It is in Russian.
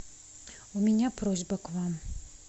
у меня просьба к вам